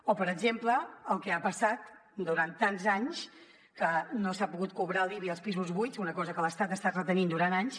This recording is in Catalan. o per exemple el que ha passat durant tants anys que no s’ha pogut cobrar l’ibi als pisos buits una cosa que l’estat ha estat retenint durant anys